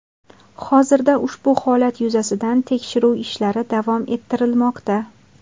Hozirda ushbu holat yuzasidan tekshiruv ishlari davom ettirilmoqda.